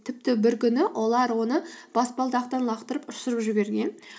тіпті бір күні олар оны баспалдақтан лақтырып ұшырып жіберген